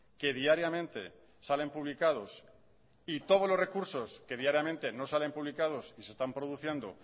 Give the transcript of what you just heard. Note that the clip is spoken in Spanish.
que diariamente salen publicados y todos los recursos que diariamente no salen publicados y se están produciendo